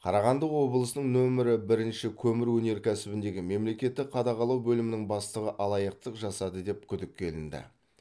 қарағанды облысының нөмірі бірінші көмір өнеркәсібіндегі мемлекеттік қадағалау бөлімінің бастығы алаяқтық жасады деп күдікке ілінді